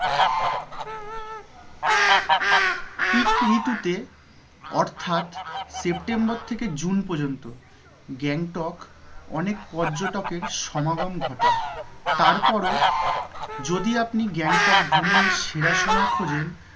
Peak ঋতুতে অর্থাৎ september থেকে june পর্যন্ত গ্যাংটক অনেক পর্যটকের সমাগম ঘটায় তারপরেও যদি আপনি গ্যাংটক ভ্রমনের সেরা সময় খোঁজেন